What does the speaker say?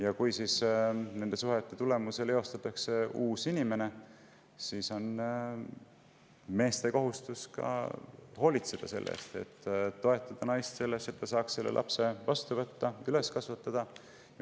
Ja kui nende suhete tulemusel eostatakse uus inimene, siis on mehe kohus olla toeks ja hoolitseda selle eest, et naine saaks selle lapse vastu võtta ja üles kasvatada.